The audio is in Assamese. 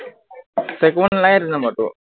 save কৰিব নালাগে, এইটো number টো